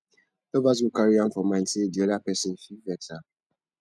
lovers go carry am for mind sey di oda person fit vex am